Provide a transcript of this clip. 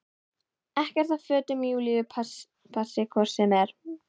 Ekkert af fötum Júlíu passi hvort sem er.